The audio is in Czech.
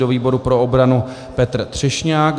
Do výboru pro obranu Petr Třešňák.